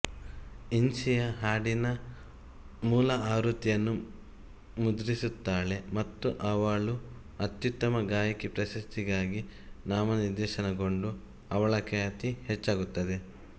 ಇನ್ಸಿಯಾ ಹಾಡಿನ ಮೂಲ ಆವೃತ್ತಿಯನ್ನು ಮುದ್ರಿಸುತ್ತಾಳೆ ಮತ್ತು ಅವಳು ಅತ್ಯುತ್ತಮ ಗಾಯಕಿ ಪ್ರಶಸ್ತಿಗಾಗಿ ನಾಮನಿರ್ದೇಶನಗೊಂಡು ಅವಳ ಖ್ಯಾತಿ ಹೆಚ್ಚಾಗುತ್ತದೆ